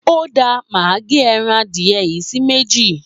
Óda máa gé ẹran adìẹ yìí sí méjì.